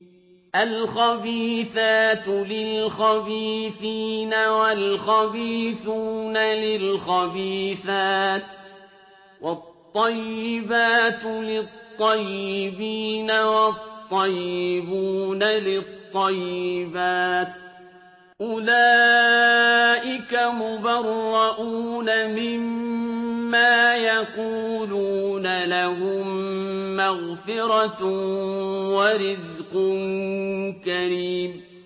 الْخَبِيثَاتُ لِلْخَبِيثِينَ وَالْخَبِيثُونَ لِلْخَبِيثَاتِ ۖ وَالطَّيِّبَاتُ لِلطَّيِّبِينَ وَالطَّيِّبُونَ لِلطَّيِّبَاتِ ۚ أُولَٰئِكَ مُبَرَّءُونَ مِمَّا يَقُولُونَ ۖ لَهُم مَّغْفِرَةٌ وَرِزْقٌ كَرِيمٌ